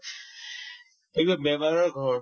এইবিলাক বেমাৰৰ ঘৰ